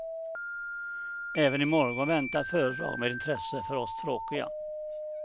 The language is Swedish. Även i morgon väntar föredrag med intresse för oss tråkiga.